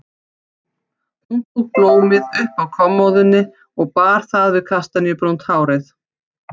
Hún tók blómið upp af kommóðunni og bar það við kastaníubrúnt hárið.